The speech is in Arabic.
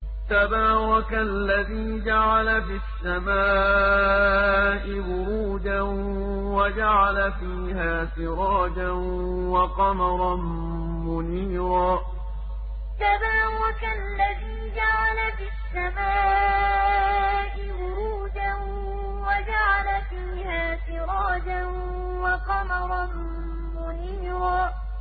تَبَارَكَ الَّذِي جَعَلَ فِي السَّمَاءِ بُرُوجًا وَجَعَلَ فِيهَا سِرَاجًا وَقَمَرًا مُّنِيرًا تَبَارَكَ الَّذِي جَعَلَ فِي السَّمَاءِ بُرُوجًا وَجَعَلَ فِيهَا سِرَاجًا وَقَمَرًا مُّنِيرًا